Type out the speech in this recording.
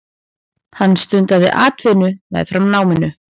Hann stundaði atvinnu meðfram náminu.